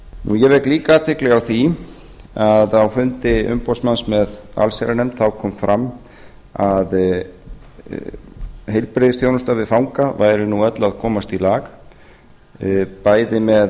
ég vek líka athygli á því að á fundi umboðsmanns með allsherjarnefnd kom fram að heilbrigðisþjónusta við fanga væri nú öll að komast í lag bæði með